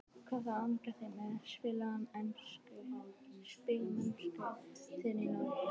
Hvað er þá að angra þig með spilamennsku þína í Noregi?